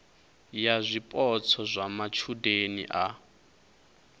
ya zwipotso zwa matshudeni a